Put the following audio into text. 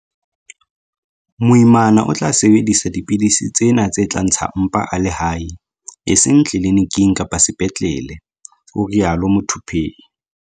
Moimana o tla sebedisa dipidisi tsena tse tla ntsha mpa a le hae, e seng tliliniking kapa sepetlele, o rialo Muthuphei.